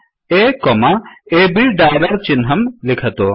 अ अब् डालर् चिह्नं लिखतु